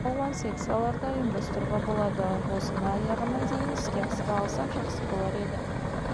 жерде сан алуан секцияларды ұйымдастыруға болады осыны аяғына дейін іске асыра алсақ жақсы болар еді